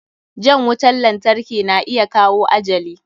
Jan wutan lantarki na iya kawo ajali.